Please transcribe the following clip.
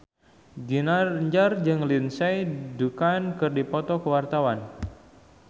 Ginanjar jeung Lindsay Ducan keur dipoto ku wartawan